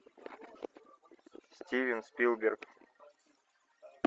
стивен спилберг